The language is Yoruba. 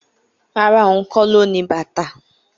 Rárá, ohun kó lo ní bàtà